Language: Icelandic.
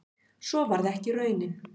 Svo varð ekki raunin